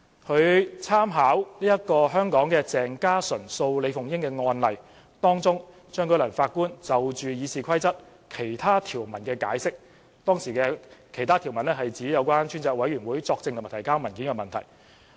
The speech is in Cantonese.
他參考香港鄭家純及另一人訴李鳳英議員及其他人士一案中，張舉能法官就《議事規則》其他條文的解釋，其他條文涉及向專責委員會作證和提交文件的問題。